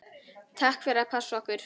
Takk fyrir að passa okkur.